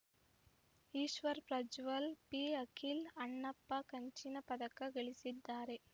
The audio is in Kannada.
ಈಶ್ವರ ಪ್ರಜ್ವಲ್‌ ಪಿಅಖಿಲ್‌ ಅಣ್ಣಪ್ಪ ಕಂಚಿನ ಪದಕ ಗಳಿಸಿದ್ದಾರೆ